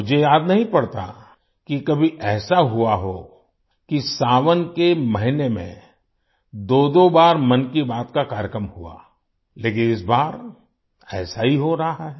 मुझे याद नहीं पड़ता कि कभी ऐसा हुआ हो कि सावन के महीने में दोदो बार मन की बात का कार्यक्रम हुआ लेकिन इस बार ऐसा ही हो रहा है